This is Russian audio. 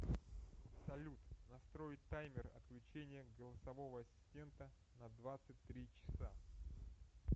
салют настроить таймер отключения голосового ассистента на двадцать три часа